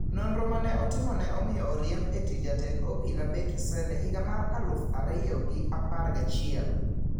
Nonro ma ne otimo ne omiyo oriemb e tich jatend obila Bheki Cele higa mar aluf ariyo gi apar gachiel.